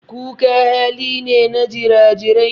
Kuka hali ne na jira-jirai.